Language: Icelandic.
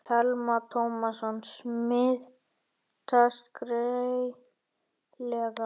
Telma Tómasson: Smitast greiðlega?